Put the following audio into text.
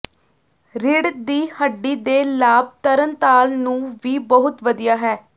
ਰੀੜ੍ਹ ਦੀ ਹੱਡੀ ਦੇ ਲਾਭ ਤਰਣਤਾਲ ਨੂੰ ਵੀ ਬਹੁਤ ਵਧੀਆ ਹੈ